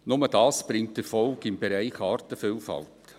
Nur das bringt Erfolg im Bereich Artenvielfalt.